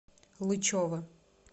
лычева